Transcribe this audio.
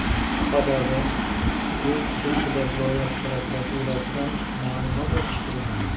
Sababi bu xususida viloyat prokuraturasidan ma’lumot olishga urindik.